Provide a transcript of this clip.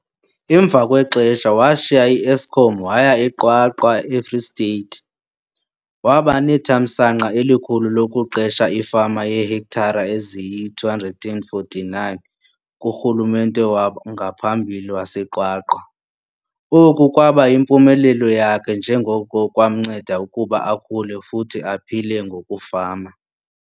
Emva kwexesha washiya iEskom waya eQwaqwa eFree State. Waba nethamsanqa elikhulu lokuqesha ifama yeehektare eziyi-249 kurhulumente wangaphambili waseQwaqwa. Oku kwaba yimpumelelo yakhe njengoko kwamnceda ukuba akhule futhi aphile ngokufama.